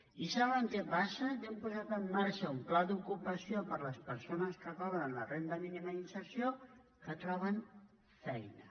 i saben què passa que hem posat en marxa un pla d’ocupació per a les persones que cobren la renda mínima d’inserció que troben feina